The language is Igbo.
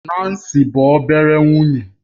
Nancy bụ obere nwunye